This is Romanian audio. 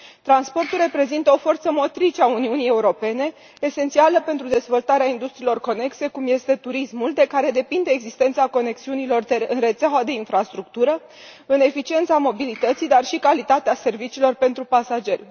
Transportul reprezintă o forță motrice a Uniunii Europene, esențială pentru dezvoltarea industriilor conexe, cum este turismul, de care depinde existența conexiunilor dintre rețeaua de infrastructură, eficiența mobilității, dar și calitatea serviciilor pentru pasageri.